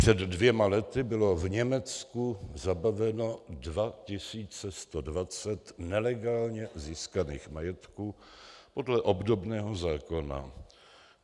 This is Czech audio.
Před dvěma lety bylo v Německu zabaveno 2120 nelegálně získaných majetků podle obdobného zákona.